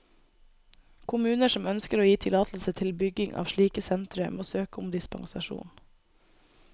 Kommuner som ønsker å gi tillatelse til bygging av slike sentre, må søke om dispensasjon.